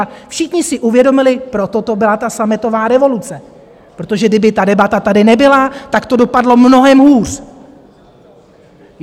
A všichni si uvědomili - proto to byla ta sametová revoluce, protože kdyby ta debata tady nebyla, tak to dopadlo mnohem hůř.